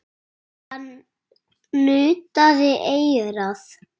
Hann nuddaði eyrað.